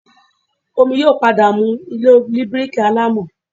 Omi yóò padà mu ilé oní bíríkì alámọ̀